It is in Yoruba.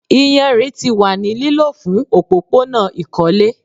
Iyanrin ti wa ni lilo fun opopona ikole